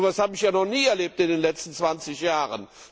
So was habe ich ja noch nie erlebt in den letzten 20 Jahren!